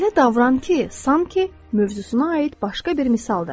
Elə davran ki, sanki mövzusuna aid başqa bir misaldır.